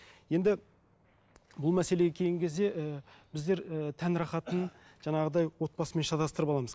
енді бұл мәселеге келген кезде і біздер і тән рахатын жаңағыдай отбасымен шатастырып аламыз